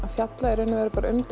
fjallar í raun og veru bara um